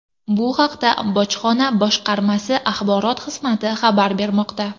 Bu haqda bojxona boshqarmasi axborot xizmati xabar bermoqda.